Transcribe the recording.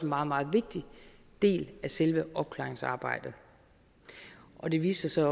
meget meget vigtig del af selve opklaringsarbejdet og det viste sig